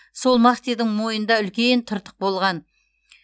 сол махтидің мойнында үлкен тыртық болған